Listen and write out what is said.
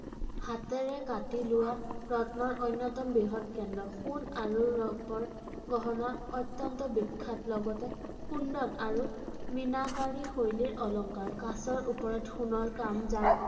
হাতেৰে কাটি লোৱা ৰত্নৰ অন্যতম বৃহৎ কেন্দ্ৰ ৷ সোণ আৰু ৰূপৰ গহনা অত্যন্ত বিখ্যাত ৷ লগতে কুণ্ডন আৰু মিনাকৰী শৈলীৰ অলংকাৰ, কাঁচৰ ওপৰত সোণৰ কাম যাক